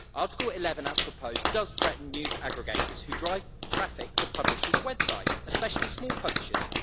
Article 11 as proposed does threaten news aggregators which drive traffic to publishers' websites, especially small publishers.